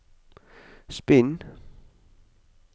spinn